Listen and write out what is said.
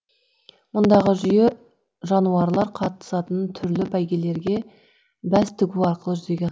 мұндағы жүйе жануарлар қатысатын түрлі бәйгелерге бәс тігу арқылы жүзеге